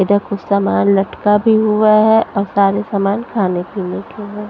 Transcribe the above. इधर कुछ सामान लटका भी हुआ है और सारे सामान खाने पीने के हैं।